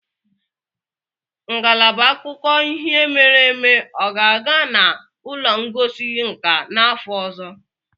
Ngalaba akụkọ ihe mere eme ọ ga-aga na ụlọ ngosi nka n'afọ ọzọ?